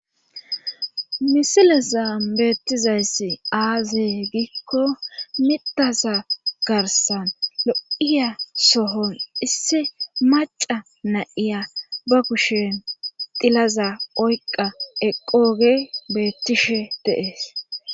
Misilezan beettizayssi aazee gikko mitaza garsan lo'iya sohon issi maca nayiya ba kushen dilaza oyqa eqqooge beettishe deees.